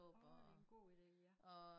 Åh det en god ide ja